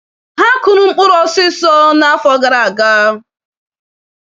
Ha kụrụ mkpụrụ osiso n'afọ gara aga.